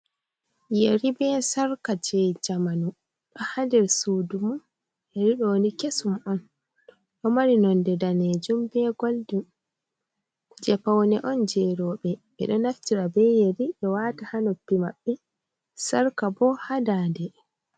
Yeri be sarka je jamanu ha nder sudu man yeriɗoni kesum on, ɗo mari nonde danejum be golden je paune on je roɓe ɓeɗo naftira be yerri be wata ha noppi maɓɓe sarka bo ha dande.